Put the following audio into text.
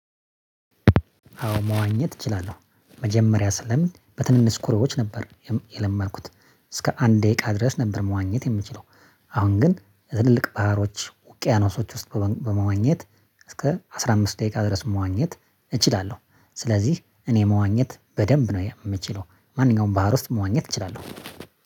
አዎ መዋኘት እችላለሁ መጀመሪያ ስለምድ በትንንሽ ኩሬዎች ነበር የለመድኩት እስከ አንድ ደቂቃ ድረስ ነበር መዋኘት የምችለው። አሁን ግን የትልልቅ ባህሮች ውቅያኖሶች ውስጥ በመዋኘት እስከ አስራ አምስት ደቂቃ ድረስ መዋኘት እችላለሁ። ስለዚህ እኔ መዋኘት በደንብ ነው የምችለው ማንኛውም ባህር ውስጥ መዋኘት እችላለሁ።